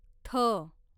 थ